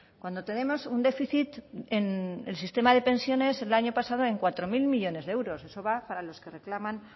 cuando tenemos un déficit en el sistema de pensiones el año pasado en cuatro mil millónes de euros eso va para los que reclaman